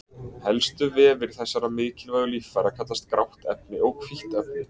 helstu vefir þessara mikilvægu líffæra kallast grátt efni og hvítt efni